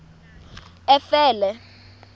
efele